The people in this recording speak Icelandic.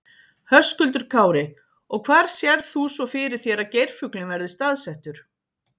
Höskuldur Kári: Og hvar sérð þú svo fyrir þér að geirfuglinn verði staðsettur?